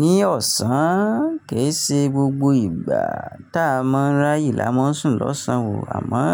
Ní ọ̀sán, kì í ṣe gbogbo ìgbà tá a mọ ráyè la má ń sùn lọ́sàn o. Àmọ́